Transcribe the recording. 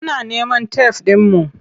Muna neman tef ɗinmu.